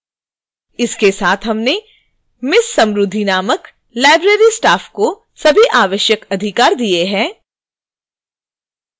इसके साथ हमने ms samruddhi नामक library staff को सभी आवश्यक अधिकार rights दिए हैं